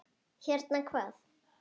Hérna, hvað?